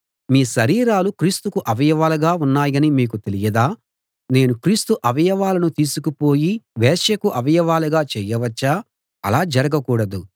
మీ శరీరాలు క్రీస్తుకు అవయవాలుగా ఉన్నాయని మీకు తెలియదా నేను క్రీస్తు అవయవాలను తీసుకుపోయి వేశ్యకు అవయవాలుగా చేయవచ్చా అలా జరగకూడదు